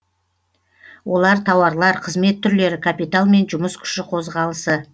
олар тауарлар қызмет түрлері капитал мен жұмыс күші қозғалысы